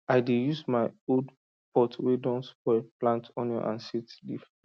i dey use my old pot wey don spoil plant onion and scent leaf